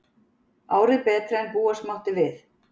Árið betra en búast mátti við